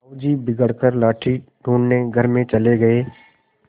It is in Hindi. साहु जी बिगड़ कर लाठी ढूँढ़ने घर में चले गये